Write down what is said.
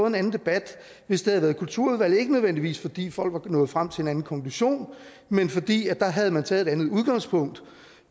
en anden debat hvis det havde været kulturudvalget ikke nødvendigvis fordi folk var nået frem til en anden konklusion men fordi der havde man taget et andet udgangspunkt